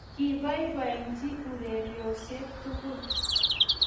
Kibaibaitnchi urerioshek tugul